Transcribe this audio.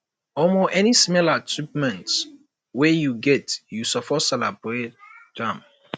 omo any small achievement wey you get you suppose celebrate am